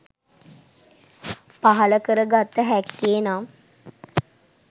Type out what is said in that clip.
පහළ කර ගත හැක්කේ, නම්